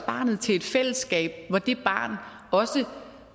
barnet til et fællesskab hvor det barn også